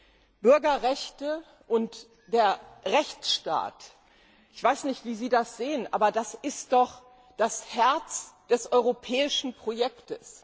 Aber Bürgerrechte und der Rechtsstaat ich weiß nicht, wie Sie das sehen sind doch das Herz des europäischen Projekts!